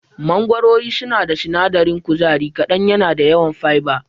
Mangorori suna da sinadarin kuzari kaɗan yana da yawan fiber.